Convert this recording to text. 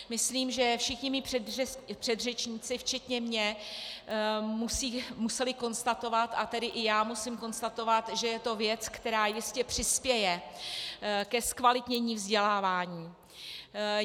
Myslím, že všichni moji předřečníci včetně mě museli konstatovat, a tedy i já musím konstatovat, že je to věc, která jistě přispěje ke zkvalitnění vzdělávání.